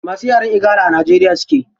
Masu yaren igala a najeriya suke.